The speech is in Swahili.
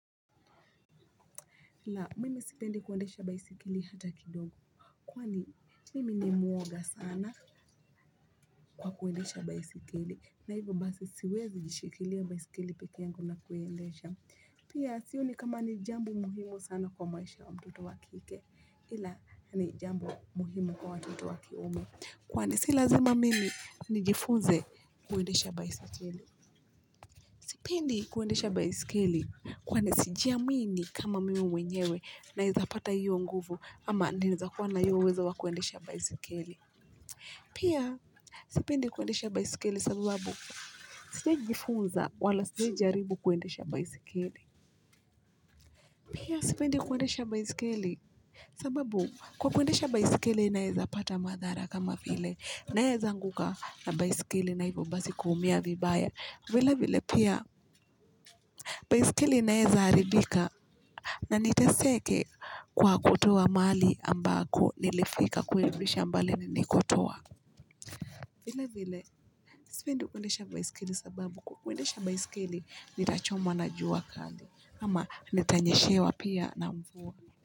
Ila mimi sipendi kuendesha baiskeli hata kidogo. Kwani mimi ni mwoga sana kwa kuendesha baiskeli na hivo basi siwezi jishikilia baiskeli peke yangu na kuendesha. Pia sioni kama ni jambo muhimu sana kwa maisha wa mtoto wa kike. Ila ni jambo muhimu kwa watoto wa kiume. Kwani si lazima mimi nijifunze kuendesha baiskeli. Sipendi kuendesha baiskeli. Kwani sijiamini kama mimi mwenyewe naeza pata hiyo nguvu. Ama naeza kuwa na hiyo uwezo wa kuendesha baiskeli. Pia, sipendi kuendesha baiskeli sababu, sijahi jifunza wala sijahi jaribu kuendesha baiskeli. Pia, sipindi kuendesha baisikeli. Sababu, kwa kuendesha baiskeli naeza pata madhara kama vile. Naeza anguka na baiskeli na hivo basi kuumia vibaya. Vilevile pia baiskeli inaeza haribika na niteseke kwa kutoa mahali ambako nilifika kuirudisha mbali nilikotoa vile vile sipendi kuendesha baiskeli sababu kwa kuendesha baiskeli nitachomwa na jua kali ama nitanyeshewa pia na mvua.